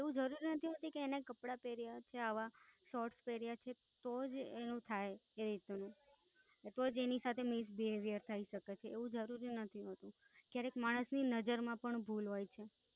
એવું જરૂરી નથી હોતું કે એના કપડાં પેરીએ કે આવા શોટ પેરીએ તો જ એની સાથે એવું થઇ કે તો જ એની સાથે Miss Behavior થઈશકે છે એવું જરૂરી નથી હોતું. ક્યારેક માણસ ની નઝર માં પણ ભૂલ હોઈ છે.